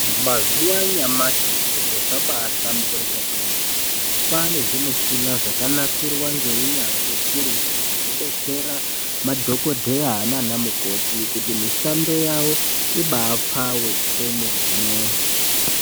Mazuva anyamashi zviro zvabahlamburika kwemene kwane zvimushina zvakanasirwa ngeunyanzvi ukurutu zvekudetsera madhokodheya nana mukoti kuti mishando yavo ibapfave kwemene.